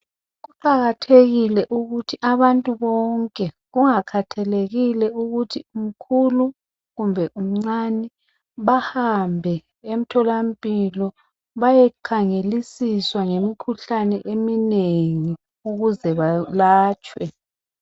Kuqakathekile ukuthi abantu bonke, kungakhethekile ukuthi umkhulu kumbe umncane bahambe emtholampilo bayekhangelisiswa ngemikhuhlane eminengi ukuze balatshwe.